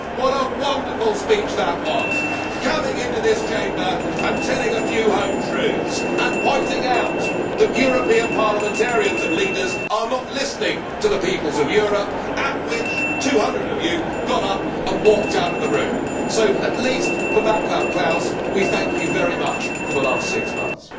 What a wonderful speech that was coming into this Chamber and telling a few home truths and pointing out that European parliamentarians and leaders are not listening to the peoples of Europe at which 200 of you got up and walked out of the room. So at least for Václav Klaus we thank you very much for the last six months.